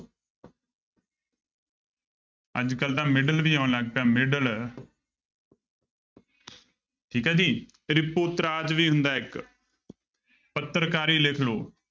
ਅੱਜ ਕੱਲ੍ਹ ਤਾਂ ਮਿਡਲ ਵੀ ਆਉਣ ਲੱਗ ਪਿਆ ਮਿਡਲ ਠੀਕ ਹੈ ਜੀ ਤ੍ਰਿਪੋਤਰਾਜ ਵੀ ਹੁੰਦਾ ਇੱਕ ਪੱਤਰਕਾਰੀ ਲਿਖ ਲਓ।